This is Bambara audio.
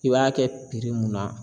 I b'a kɛ mun na